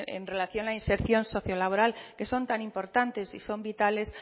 en relación a la inserción socio laboral que son tan importantes y son vitales